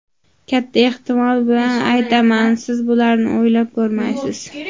Katta ehtimol bilan aytaman, siz bularni o‘ylab ko‘rmaysiz.